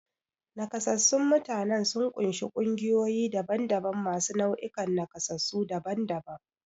Nakasassun mutanen sun ƙunshi ƙungiyoyi daban-daban masu nau'ikan nakasassu daban-daban.